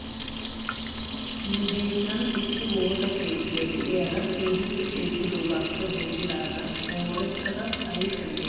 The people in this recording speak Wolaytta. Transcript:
Nu biittan issi woosa keettiyaa de'iyaara keehippe ceeggidoogaappe denddidaagan moorettada ayfiyan xeellanaw lo'ukku. He woosa keettiyoo giigissanaw asaasi miishshay de'eneeye?